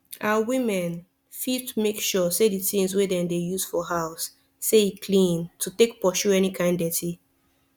our women fit make sure say the things wey dem dey use for house say e clean to take pursue any kind deti